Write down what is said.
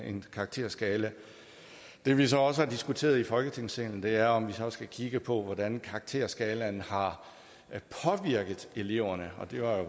en karakterskala det vi så også har diskuteret i folketingssalen er om vi så skal kigge på hvordan karakterskalaen har påvirket eleverne og det var